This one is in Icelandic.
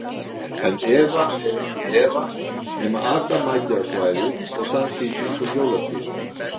En Eva er ekki Eva nema adam mæti á svæðið og dansi í kringum jólatréð.